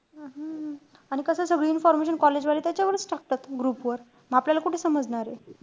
हम्म आणि कसंय सगळी information college वाले त्याच्यावरच टाकतात group वर. म आपल्याला ते कुठे समजणारे.